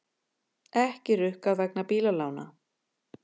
Ekki rukkað vegna bílalána